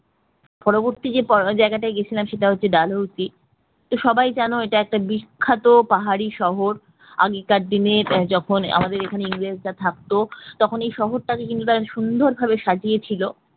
পরবর্তী যে জায়গাটায় গিয়েছিলাম সেটা হচ্ছে ডালহৌসি, সবাই জানো এটা একটা বিখ্যাত পাহাড়ি সহজ আগেকার দিনে যখন আমাদের এখানে ইংরেজরা থাকতো তখন এই শহরটা ইংরেজ খুব সুন্দর ভাবে সাজিয়েছিল